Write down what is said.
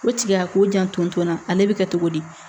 O tigi y'a k'o janto n na ale bi kɛ togo di